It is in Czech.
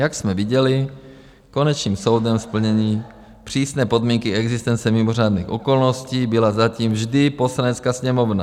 Jak jsme viděli, konečným soudem splnění přísné podmínky existence mimořádných okolností byla zatím vždy Poslanecká sněmovna.